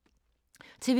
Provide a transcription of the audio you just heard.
TV 2